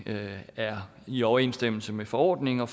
er i overensstemmelse med forordningen og